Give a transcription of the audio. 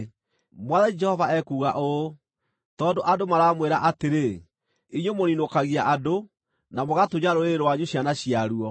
“ ‘Mwathani Jehova ekuuga ũũ: Tondũ andũ maramwĩra atĩrĩ, “Inyuĩ mũniinũkagia andũ, na mũgatunya rũrĩrĩ rwanyu ciana ciaruo,”